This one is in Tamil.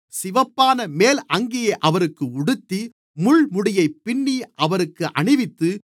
சிவப்பான மேல் அங்கியை அவருக்கு உடுத்தி முள்முடியைப் பின்னி அவருக்கு அணிவித்து